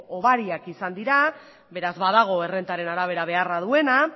hobariak izan dira beraz badago errentaren arabera beharra duena